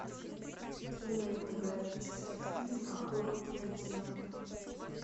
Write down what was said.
кинематографический фильм охотники на демонов